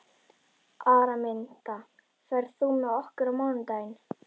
Araminta, ferð þú með okkur á mánudaginn?